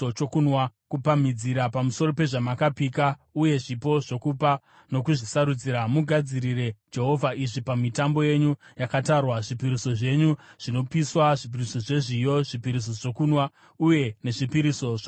“ ‘Kupamhidzira pamusoro pezvamakapika uye zvipo zvokupa nokuzvisarudzira, mugadzirire Jehovha izvi pamitambo yenyu yakatarwa: zvipiriso zvenyu zvinopiswa, zvipiriso zvezviyo, zvipiriso zvokunwa uye nezvipiriso zvokuwadzana.’ ”